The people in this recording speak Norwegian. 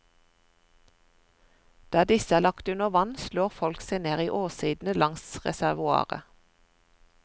Der disse er lagt under vann, slår folk seg ned i åssidene langs reservoaret.